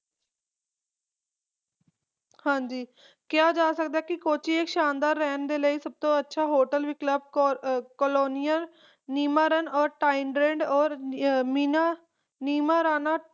ਹਾਂਜੀ ਕਿਹਾ ਜਾ ਸਕਦਾ ਹੈ ਕੋਚੀ ਇਕ ਸ਼ਾਨਦਾਰ ਰਹਿਣ ਦੇ ਲਈ ਸਭ ਤੋਂ ਅੱਛਾ hotel ਵੀ club colonial ਨੀਮਾਰਾਂ ਔਰ tidrind ਔਰ ਮੀਨਾ ਨੀਮਰਾਣਾ